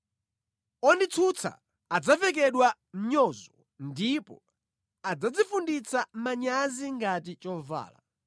Onditsutsa adzavekedwa mnyozo, ndipo adzadzifunditsa manyazi ngati chovala.